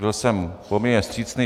Byl jsem poměrně vstřícný.